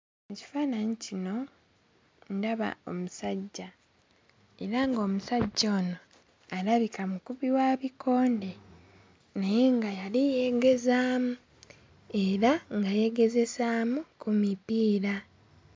Ekifaananyi kino ndaba omusajja era ng'omusajja ono alabika mukubi wa bikonde naye nga yali yeegezaamu era nga yeegezesaamu ku mipiira.